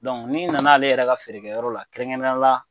Donc ni nana ale yɛrɛ ka feerekɛyɔrɔ la kerɛnkɛrɛnnenyala